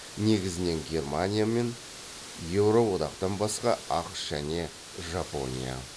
негізінен германия мен еуро одақтан басқа ақш және жапония